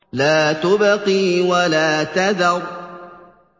لَا تُبْقِي وَلَا تَذَرُ